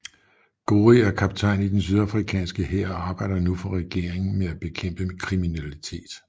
Gori er kaptajn i den sydafrikanske hær og arbejder nu for regeringen med at bekæmpe kriminalitet